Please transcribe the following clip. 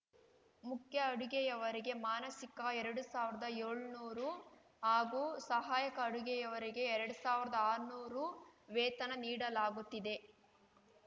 ಮುಖ್ಯ ಅಡುಗೆಯವರಿಗೆ ಮಾನಸಿಕ ಎರಡು ಸಾವಿರದಏಳ್ನೂರು ಹಾಗೂ ಸಹಾಯಕ ಅಡುಗೆಯವರಿಗೆ ಎರಡು ಸಾವಿರದಆರ್ನೂರು ವೇತನ ನೀಡಲಾಗುತ್ತಿದೆ